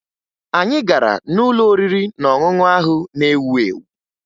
Anyị gara n'ụlọ oriri na ọṅụṅụ ahụ na-ewu ewu